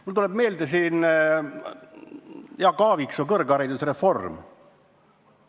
Mulle tuleb meelde Jaak Aaviksoo kõrgharidusreform.